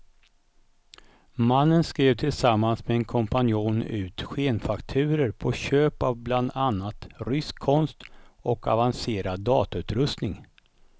Mannen skrev tillsammans med en kompanjon ut skenfakturor på köp av bland annat rysk konst och avancerad datautrustning.